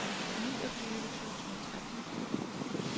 niogtyve tusind og tretten